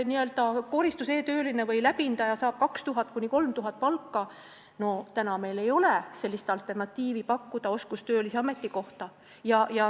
Koristuseetööline või läbindaja saab 2000–3000 eurot palka ja meil ei ole pakkuda alternatiivi, teist sellist oskustöölise ametikohta.